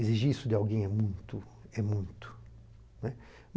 Exigir isso de alguém é muito, é muito, né.